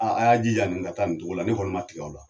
A a y'a jija nin ka taa nin togo la ne kɔni ma tigɛ aw la.